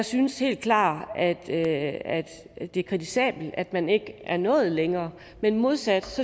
synes helt klart at det er kritisabelt at man ikke er nået længere men modsat